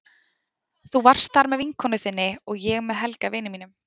Þú varst þar með vinkonu þinni og ég með Helga, vini mínum.